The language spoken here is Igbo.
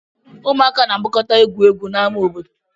Ụmụaka na-agbakọta egwu egwu n'ama obodo